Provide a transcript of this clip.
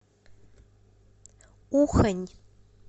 ухань